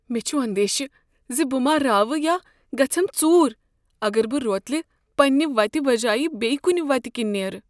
مےٚ چھ اندیشہ زِ بہٕ ما راوٕ یا گژھیم ژُور اگر بہٕ روتلہ پننہ وتہِ بجایہ بیٚیہ کنہ وتہ کِنۍ نیرٕ۔